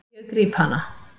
Ég gríp hana.